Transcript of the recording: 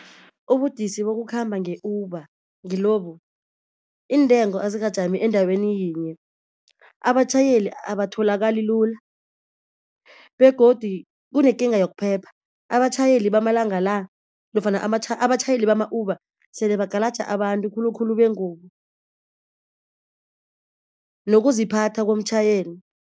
Ubudisi bokukhamba nge-Uber ngilobu. Iintengo azikajami endaweni yinye. Abatjhayeli abatholakali lula begodi kunekinga yokuphepha, abatjhayeli bamalanga la nofana abatjhayeli bama-Uber sele bagalaja abantu khulukhulu bengubo. Nokuziphatha komtjhayeli.